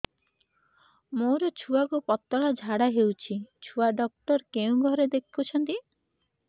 ମୋର ଛୁଆକୁ ପତଳା ଝାଡ଼ା ହେଉଛି ଛୁଆ ଡକ୍ଟର କେଉଁ ଘରେ ଦେଖୁଛନ୍ତି